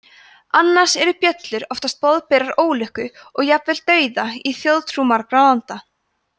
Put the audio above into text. annars eru bjöllur oftast boðberar ólukku og jafnvel dauða í þjóðtrú margra landa